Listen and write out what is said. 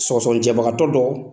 Sɔgɔsɔgɔnijɛbagatɔ dɔ